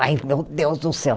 Ai, meu Deus do céu.